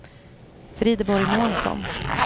Frideborg Månsson